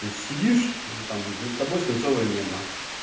то есть сидишь там над тобой свинцовое небо